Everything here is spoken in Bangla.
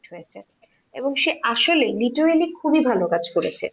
এবং সে আসলে বিজয়িনী খুব ভালো কাজ করেছে.